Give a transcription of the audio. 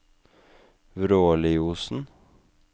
Vråliosen